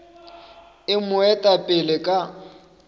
e mo eta pele ka